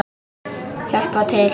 Hjálpað til!